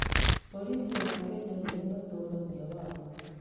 Borithi a Kenya nĩo matũũragia watho.